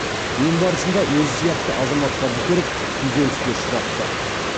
ем барысында өзі сияқты азаматтарды көріп күйзеліске ұшырапты